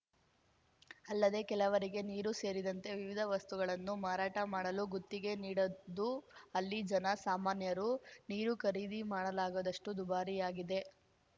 ಅಲ್ಲದೇ ಕೆಲವರಿಗೆ ನೀರು ಸೇರಿದಂತೆ ವಿವಿಧ ವಸ್ತುಗಳನ್ನು ಮಾರಾಟ ಮಾಡಲು ಗುತ್ತಿಗೆ ನೀಡದ್ದು ಅಲ್ಲಿ ಜನ ಸಾಮಾನ್ಯರು ನೀರು ಖರೀದಿ ಮಾಡಲಾಗದಷ್ಟುದುಬಾರಿಯಾಗಿದೆ